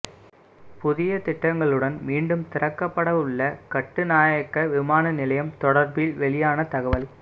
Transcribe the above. புதிய திட்டங்களுடன் மீண்டும் திறக்கப்படவுள்ள கட்டுநாயக்க விமான நிலையம் தொடர்பில் வெளியான தகவல்